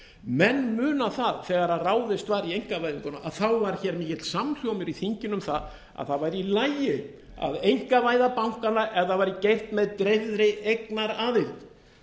menn muna það þegar ráðist var í einkavæðinguna að þá var hér mikill samhljómur í þinginu um að það væri í lagi að einkavæða bankana ef það væri gert með dreifðri eignaraðild